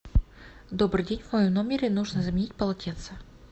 добрый день в моем номере нужно заменить полотенце